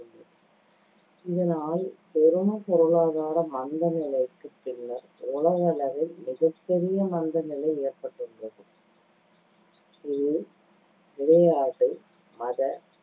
இதனால் பொருளாதார மந்தநிலைக்குப் பின்னர் உலகளவில் மிகப்பெரிய மந்தநிலை ஏற்பட்டுள்ளது இது விளையாட்டு, மத,